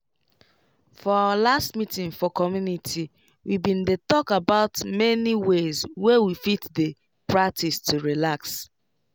for our last meeting for community we bin dey talk about many ways wey we fit dey practice to relax